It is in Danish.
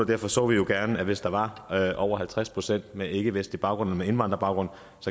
derfor så vi jo gerne at hvis der var over halvtreds procent med ikkevestlig baggrund men med indvandrerbaggrund